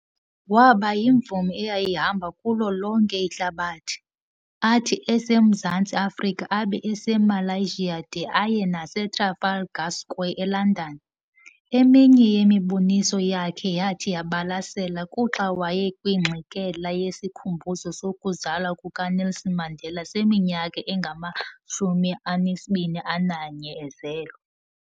Waba yimvumi eyayihamba kulo lonke ihlabathi, athi eseMzantsi Afrika abe eseMalaysia de aye nase Trafalgar Square eLondon, eminye yemiboniso yakhe eyathi yabalasela kuxa wayekwingxikela yesikhumbuzo sokuzalwa kukaNelson Mandela seminyaka engama21 ezelwe.